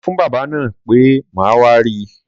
Sọfún bábà náà pe màá wá ri